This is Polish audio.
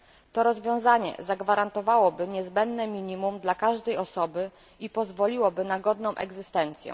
To rozwiązanie zagwarantowałoby niezbędne minimum dla każdej osoby i pozwoliłoby na godną egzystencję.